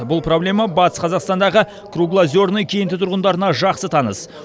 бұл проблема батыс қазақстандағы круглозерный кенті тұрғындарына жақсы таныс